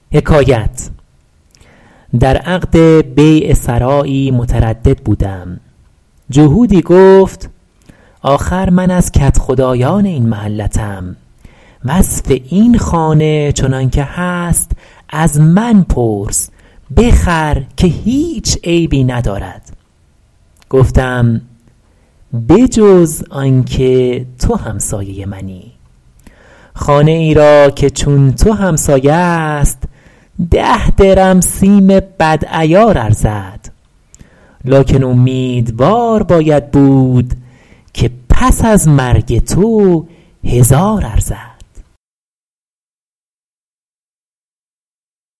در عقد بیع سرایی متردد بودم جهودی گفت آخر من از کدخدایان این محلتم وصف این خانه چنان که هست از من پرس بخر که هیچ عیبی ندارد گفتم به جز آن که تو همسایه منی خانه ای را که چون تو همسایه است ده درم سیم بد عیار ارزد لکن امیدوار باید بود که پس از مرگ تو هزار ارزد